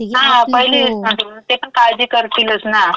हां. पहिली रिस्पाँसिबिलिटी. ते पण काळजी करतीलच ना.